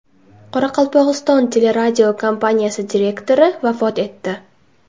Qoraqalpog‘iston teleradiokompaniyasi direktori vafot etdi.